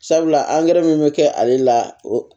Sabula angɛrɛ min be kɛ ale la o